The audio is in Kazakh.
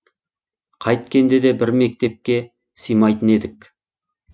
қайткенде де бір мектептке сыймайтын едік